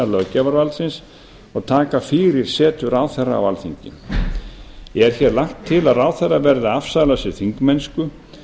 löggjafarvaldsins og taka fyrir setu ráðherra á alþingi er hér lagt til að ráðherra verði að afsala sér þingmennsku